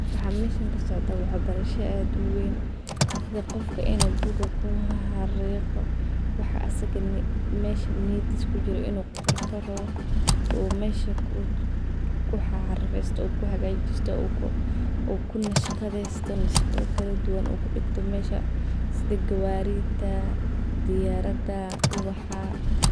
Waxa meshan kasocdo waxa barsha aad uween sidhi qofka inuu book kuxaxariqo waxa asiga mesha niyiidis kujiro inuu qorto rawo oo mesha kuxaxaristo oo kuhagasito oo kunashgadhesto nashaqaada kaladuwan oo kudigto mesha sidha gawaridha, diyarada, uwaxa